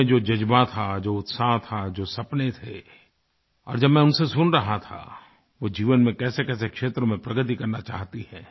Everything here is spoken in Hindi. उनमें जो जज़्बा था जो उत्साह था जो सपने थे और जब मैं उनसे सुन रहा था वो जीवन में कैसेकैसे क्षेत्र में प्रगति करना चाहती हैं